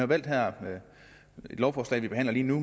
valgt her i det lovforslag vi behandler lige nu